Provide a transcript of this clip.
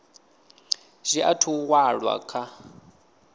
zwi athu u walwa kha